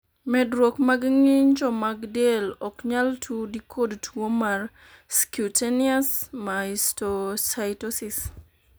medruok mag ng'injo mag del ok nyal tudi kod tuo mar scutaneous mastocytosis